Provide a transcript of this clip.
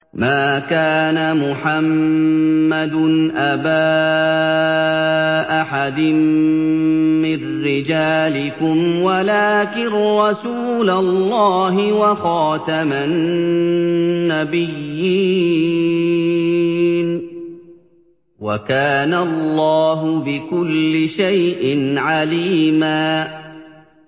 مَّا كَانَ مُحَمَّدٌ أَبَا أَحَدٍ مِّن رِّجَالِكُمْ وَلَٰكِن رَّسُولَ اللَّهِ وَخَاتَمَ النَّبِيِّينَ ۗ وَكَانَ اللَّهُ بِكُلِّ شَيْءٍ عَلِيمًا